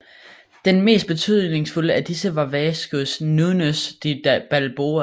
Den mest betydningsfulde af disse var Vasco Núñez de Balboa